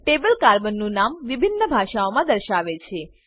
table carbon નું નામ વિભિન્ન ભાષાઓમાં દર્શાવે છે